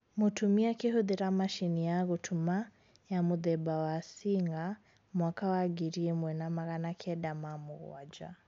Mũtumi akĩhũthira macini ya gũtuma ya mũthemba wa Singer mwaka wa ngiri ĩmwe na magana kenda ma mũgwanja